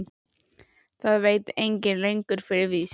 Það veit enginn lengur fyrir víst.